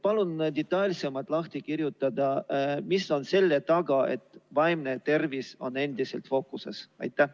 Palun detailsemalt lahti rääkida, mis on selle taga, et vaimne tervis on endiselt fookuses!